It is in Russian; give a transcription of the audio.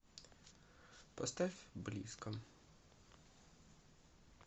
поставь близко